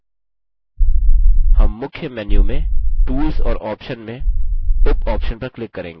हम मुख्य menu में tools और options में उपoptions पर click करेंगे